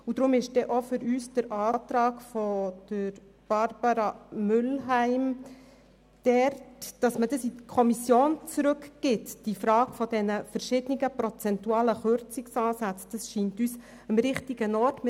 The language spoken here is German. Aus diesem Grund scheint uns der Antrag von Barbara Mühlheim richtig, wonach die Frage der verschiedenen prozentualen Kürzungsansätze an die Kommission zurückzugeben ist.